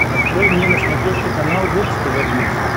открой мне на смотрешке канал бокс тв плюс